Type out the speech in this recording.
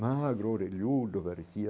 Magro orelhudo parecia...